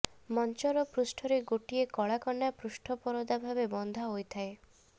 ମଞ୍ଚର ପୃଷ୍ଠରେ ଗୋଟିଏ କଳା କନା ପୃଷ୍ଠ ପରଦା ଭାବେ ବନ୍ଧା ହୋଇଥାଏ